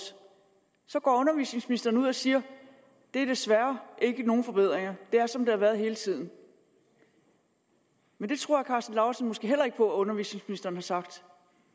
går undervisningsministeren ud og siger der er desværre ikke nogen forbedringer det er som det har været hele tiden men det tror herre karsten lauritzen måske heller ikke på at undervisningsministeren har sagt